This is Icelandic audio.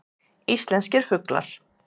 Íslenskir fuglar.